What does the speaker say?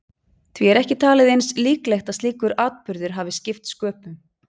Því er ekki talið eins líklegt að slíkur atburður hafi skipt sköpum.